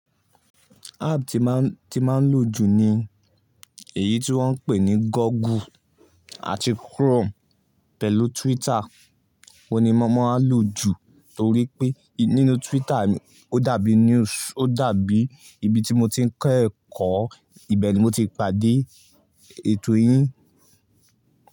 App tí máa ń, tí máa ń lò jù ni èyí tí wọ́n ń pè ní Google àti Chrome pẹ̀lú Twitter. Òun ni mo máa ń lò jù torí pé nínú Twitter ó dàbí news, ó dàbí ibi tí mo ti ń kẹ́kọ̀ọ́, ibẹ̀ ni mo ti pàdé ètò yín.